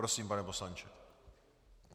Prosím, pane poslanče.